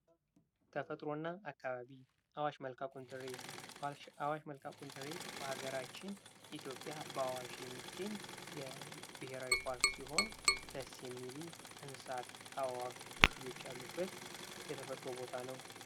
ተፈጥሮና አካባቢ አዋሽ መልከ ቁንጥሬ አዋሽ መልከ ቁንጥሬ በሀገራችን ኢትዮጵያ በአዋሽ የሚገኝ ብሔራዊ ፓርክ ሲሆን የሚሉ እንስሳት አዋፍ ዝርዝሮች ያሉበት የተፈጥሮ ቦታ ነው።